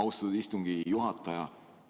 Austatud istungi juhataja!